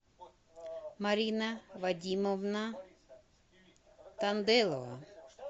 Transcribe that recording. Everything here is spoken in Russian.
марина вадимовна танделова